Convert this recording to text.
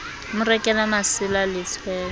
mo rekele masela le tshwele